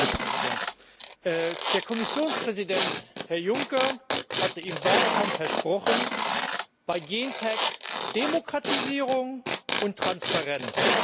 Herr Präsident! Der Kommissionspräsident, Herr Juncker, hatte im Wahlkampf versprochen Bei Gentechnik Demokratisierung und Transparenz!